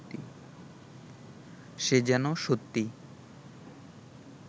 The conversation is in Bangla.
সে যেন সত্যি